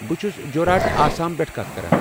بہٕ چھُس جورہاٹ، آسام پٮ۪ٹھٕ کتھ کران۔